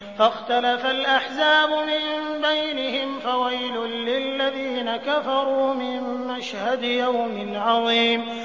فَاخْتَلَفَ الْأَحْزَابُ مِن بَيْنِهِمْ ۖ فَوَيْلٌ لِّلَّذِينَ كَفَرُوا مِن مَّشْهَدِ يَوْمٍ عَظِيمٍ